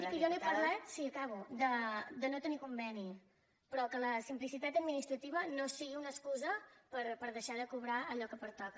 miri que jo no he parlat de no tenir conveni però que la simplicitat administrativa no sigui una excusa per deixar de cobrar allò que pertoca